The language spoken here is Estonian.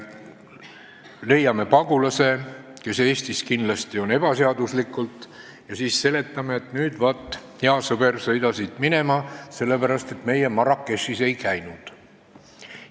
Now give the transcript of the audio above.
Kui leiame pagulase, kes on Eestis kindlasti ebaseaduslikult, kas siis seletame, et, hea sõber, sõida nüüd siit minema, sellepärast et meie Marrakechis ei käinud?